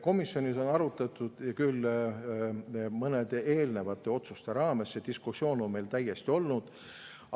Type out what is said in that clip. Komisjonis on arutatud küll seda mõnede eelnevate otsuste raames, see diskussioon on meil täiesti olnud.